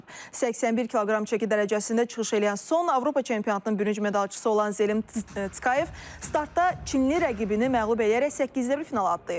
81 kq çəki dərəcəsində çıxış eləyən son Avropa çempionatının bürünc medalçısı olan Zelim Skoyev startda çinli rəqibini məğlub eləyərək səkkizdə bir finala adlayıb.